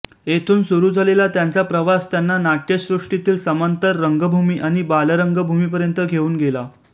तेथून सुरू झालेला त्यांचा प्रवास त्यांना नाट्यसृष्टीतील समांतर रंगभूमी आणि बालरंगभूमीपर्यंत घेऊन गेला